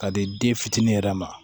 Ka di den fitinin yɛrɛ ma